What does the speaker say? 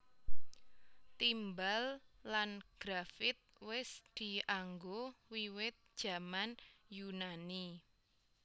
Timbal lan grafit wis dianggo wiwit jaman Yunani